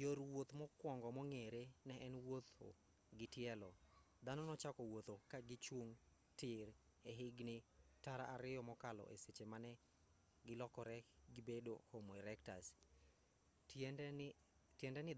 yor wuoth mokwongo mong'ere ne en wuotho gi tielo dhano nochako wuoth ka gichung' tir e higni tara ariyo mokalo e seche mane gilokore gibedo homo erectus tiende ni